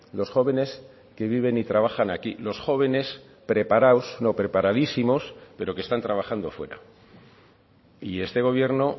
los jóvenes que viven y trabajan aquí los jóvenes preparados no preparadísimos pero que están trabajando fuera y este gobierno